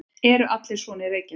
Eru allir svona í Reykjavík?